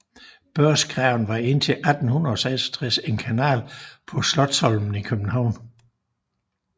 Børsgraven var indtil 1866 en kanal på Slotsholmen i København